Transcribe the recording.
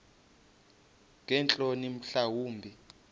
ngeentloni mhla wumbi